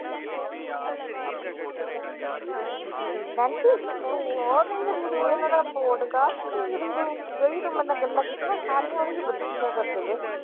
Nancy ਤੂੰ ਉਹ podcast ਦੇਖਦੀ ਤੂੰ। ਜਿਹੜੀਆਂ ਤੂੰ ਮੇਰੇ ਨਾਲ ਗੱਲਾਂ ਕੀਤੀਆਂ, ਸਾਰੀਆਂ ਉਹਦੇ ਵਿੱਚ ਦੱਸਿਆ ਕਰਦੇ ਥੇ।